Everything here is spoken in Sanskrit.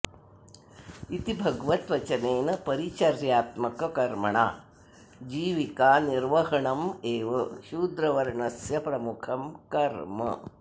इति भगवद्वचनेन परिचर्यात्मककर्मणा जीविका निर्वहणमेव शूद्रवर्णस्य प्रमुखं कर्म